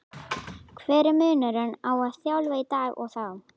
Hver er munurinn á að þjálfa í dag og þá?